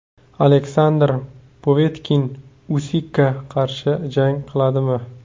Aleksandr Povetkin Usikka qarshi jang qiladimi?